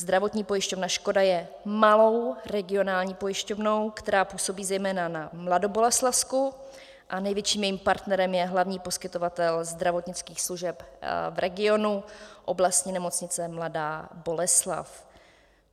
Zdravotní pojišťovna Škoda je malou regionální pojišťovnou, která působí zejména na Mladoboleslavsku, a největším jejím partnerem je hlavní poskytovatel zdravotnických služeb v regionu, Oblastní nemocnice Mladá Boleslav.